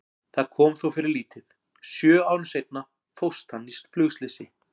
Það kom þó fyrir lítið, sjö árum seinna fórst hann í flugslysi.